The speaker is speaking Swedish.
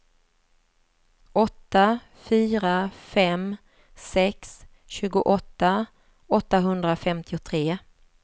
åtta fyra fem sex tjugoåtta åttahundrafemtiotre